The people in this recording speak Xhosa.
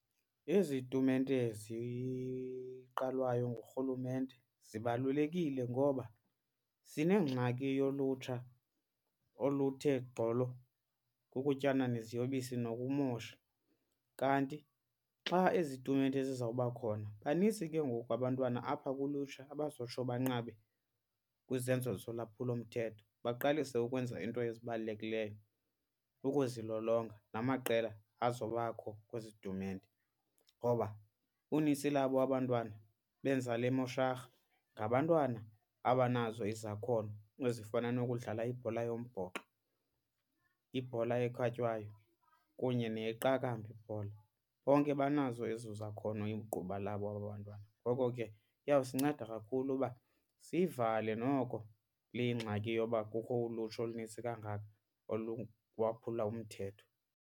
Ezi tumente ziqalwayo nguRhulumente zibalulekile ngoba sinengxaki yolutsha oluthe gqolo kukutyana neziyobisi nokumosha. Kanti xa ezi tumente zizawuba khona banintsi ke ngoku abantwana apha kulutsha abazotsho banqabe kwizenzo zolwaphulomthetho baqalise ukwenza iinto ezibalulekileyo ukuzilolonga namaqela azobakho kwezi tumente. Ngoba unintsi labo aba 'ntwana benza le mosharha ngabantwana abanazo izakhono ezifana nokudlala ibhola yombhoxo, ibhola ekhatywayo kunye neyeqakamba ibhola. Bonke banazo ezo zakhono igquba labo aba bantwana. Ngoko ke iyawusinceda kakhulu uba siyivale noko le ngxaki yoba kukho ulutsha olunintsi kangaka oluwaphula umthetho.